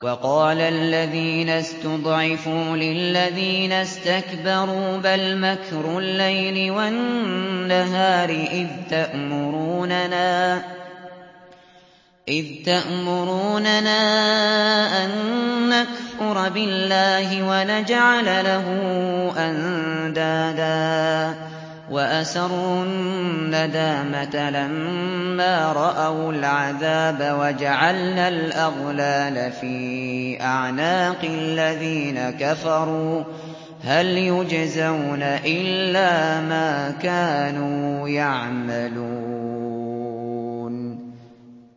وَقَالَ الَّذِينَ اسْتُضْعِفُوا لِلَّذِينَ اسْتَكْبَرُوا بَلْ مَكْرُ اللَّيْلِ وَالنَّهَارِ إِذْ تَأْمُرُونَنَا أَن نَّكْفُرَ بِاللَّهِ وَنَجْعَلَ لَهُ أَندَادًا ۚ وَأَسَرُّوا النَّدَامَةَ لَمَّا رَأَوُا الْعَذَابَ وَجَعَلْنَا الْأَغْلَالَ فِي أَعْنَاقِ الَّذِينَ كَفَرُوا ۚ هَلْ يُجْزَوْنَ إِلَّا مَا كَانُوا يَعْمَلُونَ